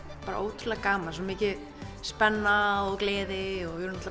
bara ótrúlega gaman svo mikil spenna og gleði og við vorum